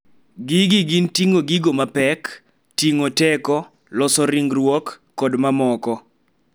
Gigi gin ting�o gigo mapek, ting�o teko, loso ringruok, kod mamoko.